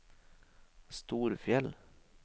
Storfjell